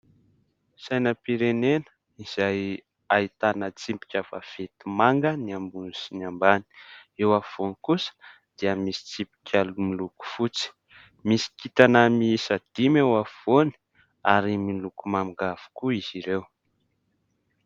Sainam-pirenena izay ahitana tsipika vaventy manga ny ambony sy ny ambany. Eo afovoany kosa dia misy tsipika miloko fotsy. Misy kintana miisa dimy eo afovoany ary miloko manga avokoa izy ireo.